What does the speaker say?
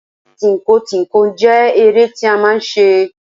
Tínko tínko jẹ́ eré tí a máà ń ṣe.